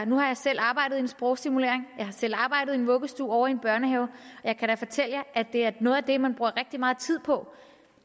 nu har jeg selv arbejdet i en sprogstimulering jeg har selv arbejdet i en vuggestue og i en børnehave og jeg kan da fortælle at det er noget af det man bruger rigtig meget tid på